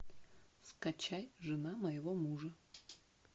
скачай жена моего мужа